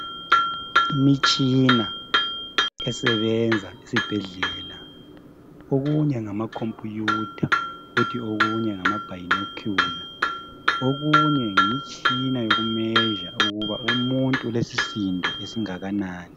Imitshina esebenza esibhedlela okunye ngama computer, kuthi okunye ngama binocular, okunye yimitshina yoku measure umuntu ulesisindo esingakanani.